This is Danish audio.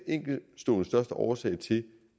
enkeltstående årsag til